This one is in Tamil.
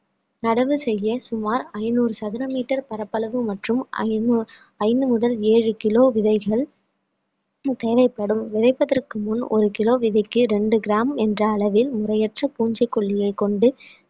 நடவு செய்ய சுமார் ஐநூறு சதுர metre பரப்பளவு மற்றும் ஐநூ~ ஐந்து முதல் ஏழு kilo விதைகள் தேவைப்படும் விதைப்பதற்கு முன் ஒரு kilo விதைக்கு இரண்டு gram என்ற அளவில் முறையற்ற பூச்சிக்கொல்லியை கொண்டு